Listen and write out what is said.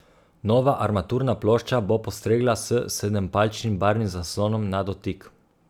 Nova armaturna plošča bo postregla s sedempalčnim barvnim zaslonom na dotik.